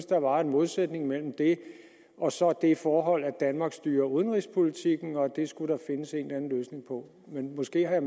der var en modsætning mellem det og så det forhold at danmark styrer udenrigspolitikken og at det skulle der findes en eller anden løsning på men måske har